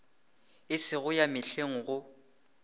e sego ya mehleng go